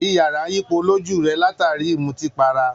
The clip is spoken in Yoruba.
Iyàrá ń yípo lójú rẹ̀, látàrí i ìmùtípatara